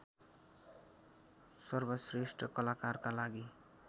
सर्वश्रेष्ठ कलाकारको लागि